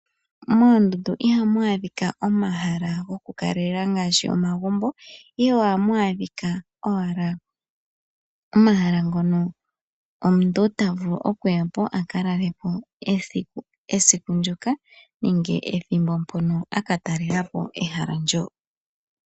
Moondundu ihamu adhika omahala gokukaleelela ngaashi omagumbo , ihe ohamu adhika owala omahala ngono omuntu ta vulu okuya aka lalepo esiku ndyoka nenge ethimbo mpono akatalelapo ehala ndyoka.